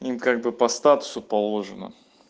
им как бы по статусу положено